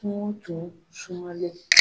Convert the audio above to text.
Kungo tun sumalen.